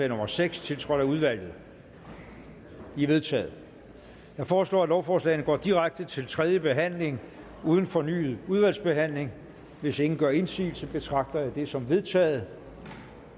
nummer seks tiltrådt af udvalget de er vedtaget jeg foreslår at lovforslagene går direkte til tredje behandling uden fornyet udvalgsbehandling hvis ingen gør indsigelse betragter jeg det som vedtaget